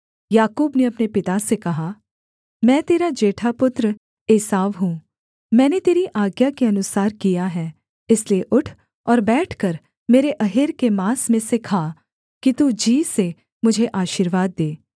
याकूब ने अपने पिता से कहा मैं तेरा जेठा पुत्र एसाव हूँ मैंने तेरी आज्ञा के अनुसार किया है इसलिए उठ और बैठकर मेरे अहेर के माँस में से खा कि तू जी से मुझे आशीर्वाद दे